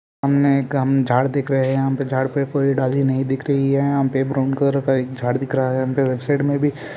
एक हम एक झाड़ दिख रहे है यहाँ पे हम झाड़ पे पूरी डाली नही दिख रही है और यहाँ पे ब्राउन कलर झाड़ दिख रहा है यहाँ पे लेफ्ट साईड में भी--